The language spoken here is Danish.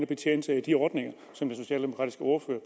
betjene sig af de ordninger som den socialdemokratiske ordfører